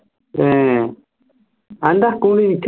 ഏർ അന്റെ നിക്ക്